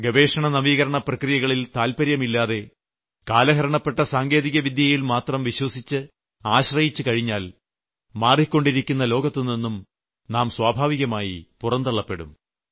ഗവേഷണനവീകരണ പ്രക്രിയകളിൽ താല്പര്യമില്ലാതെ കാലഹരണപ്പെട്ട സാങ്കേതികവിദ്യയിൽമാത്രം വിശ്വസിച്ച് ആശ്രയിച്ചുകഴിഞ്ഞാൽ മാറിക്കൊണ്ടിരിക്കുന്ന ലോകത്തുനിന്നും നാം സ്വാഭാവികമായി പുറന്തള്ളപ്പെടും